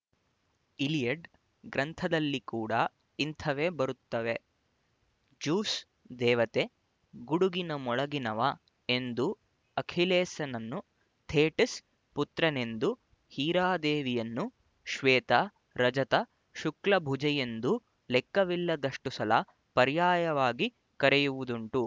Iliad ಗ್ರಂಥದಲ್ಲಿ ಕೂಡ ಇಂಥವೇ ಬರುತ್ತವೆ ಜ್ಯೂಸ್ ದೇವತೆ ಗುಡುಗಿನ ಮೊಳಗಿನವ ಎಂದೂ ಅಖಿಲೇಸನನ್ನು ಥೇಟಿಸ್ ಪುತ್ರನೆಂದೂ ಹೀರಾದೇವಿಯನ್ನು ಶ್ವೇತ ರಜತ ಶುಕ್ಲಭುಜೆಯೆಂದೂ ಲೆಕ್ಕವಿಲ್ಲದಷ್ಟು ಸಲ ಪರ್ಯಾಯವಾಗಿ ಕರೆಯುವುದುಂಟು